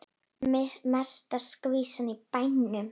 Mesta skvísan í bænum.